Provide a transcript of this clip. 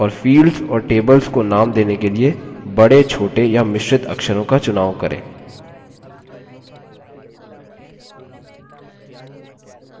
और fields और tables को नाम देने के लिए बड़े छोटे या मिश्रित अक्षरों का चुनाव करें